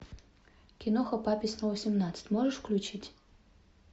киноха папе снова семнадцать можешь включить